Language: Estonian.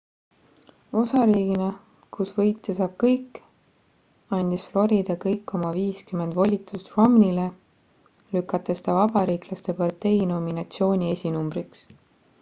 osariigina kus võitja saab kõik andis florida kõik oma viiskümmend volitust romneyle lükates ta vabariiklaste partei nominatsiooni esinumbriks